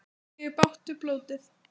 Þá fengi ég bágt fyrir blótið.